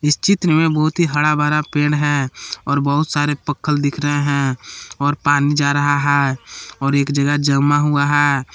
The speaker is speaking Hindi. चित्र में बहुत ही हरा भरा पेड़ है और बहुत सारे पक्कल दिख रहे हैं और पानी जा रहा है और एक जगह जमा हुआ है।